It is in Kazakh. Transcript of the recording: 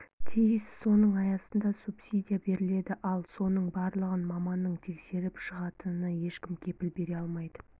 тиіс соның аясында субсидия беріледі ал соның барлығын маманның тексеріп шығатынына ешкім кепіл бере алмайды